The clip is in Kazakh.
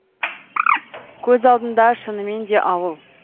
көз алдында шынымен де ауыл